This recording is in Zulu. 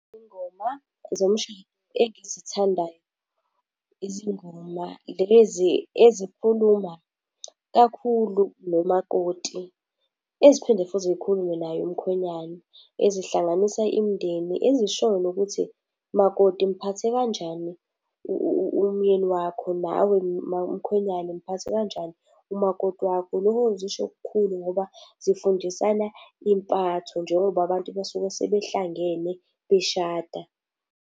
Izingoma zomshado engizithandayo izingoma lezi ezikhuluma kakhulu nomakoti, eziphinde futhi zikhulume naye umkhwenyana, ezihlanganisa imindeni, ezishoyo nokuthi, makoti mphathe kanjani umyeni wakho, nawe mkhwenyane mphathe kanjani umakoti wakho. Zisho okukhulu ngoba zifundisana impatho njengoba abantu basuke sebehlangene beshada.